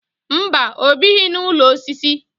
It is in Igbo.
Mba, ọ bighị n'ụlọ osisi